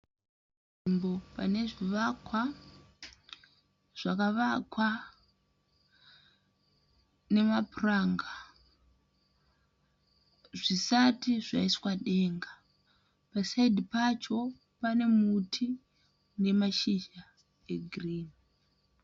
Panzvimbo pane zvivakwa zvakavakwa nemapuranga zvisati zvaiswa denga pasaidhi pacho pane muti une mashizha egiririnhi.